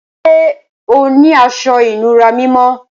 Ṣẹ́ ọ ni àṣọ-ìnúrà mímọ́?